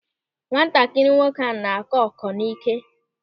Nwatakịrị nwoke ahụ na-akọ ọ́kọ́ n'íké.